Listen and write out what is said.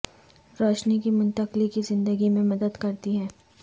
روشنی کی منتقلی کی زندگی میں مدد کرتی ہے